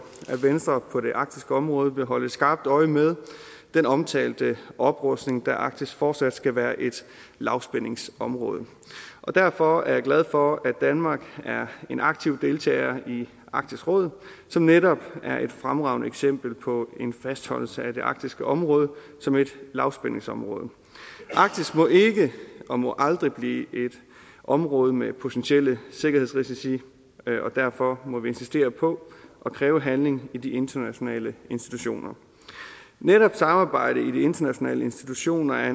at venstre på det arktiske område vil holde skarpt øje med den omtalte oprustning da arktis fortsat skal være et lavspændingsområde og derfor er jeg glad for at danmark er en aktiv deltager i arktisk råd som netop er et fremragende eksempel på en fastholdelse af det arktiske område som et lavspændingsområde arktis må ikke og må aldrig blive et område med potentielle sikkerhedsrisici og derfor må vi insistere på at kræve handling i de internationale institutioner netop samarbejdet i de internationale institutioner er